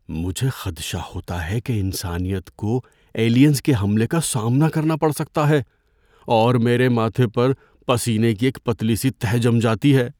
مجھے خدشہ ہوتا ہے کہ انسانیت کو ایلینز کے حملے کا سامنا کرنا پڑ سکتا ہے اور میرے ماتھے پر پسینے کی ایک پتلی سی تہہ جم جاتی ہے۔